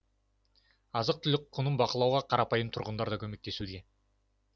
азық түлік құнын бақылауға қарапайым тұрғындар да көмектесуде